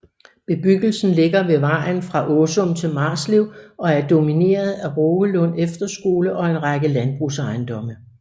Bebyggelsen ligger ved vejen fra Åsum til Marslev og er domineret af Rågelund Efterskole og en række landbrugsejendomme